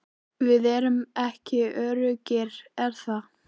Við erum ekki öruggir er það?